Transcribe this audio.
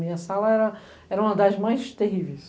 Minha sala era uma das mais terríveis.